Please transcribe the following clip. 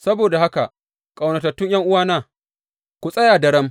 Saboda haka, ƙaunatattu ’yan’uwana, ku tsaya da daram.